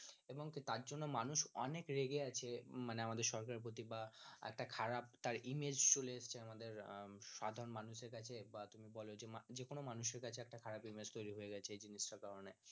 এবং তার জন্য মানুষ অনেক রেগে আছেন মানে আমাদের সরকারের প্রতি বা একটা খারাপ তার image চলে এসেছে সাধারণ মানুষের কাছে বা তুমি বলো যে যেকোনো মানুষের কাছে একটা খারাপ image তৈরী হয়ে গেছে এই জিনিসটার কারনে